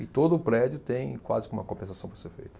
E todo o prédio tem quase que uma compensação para ser feito.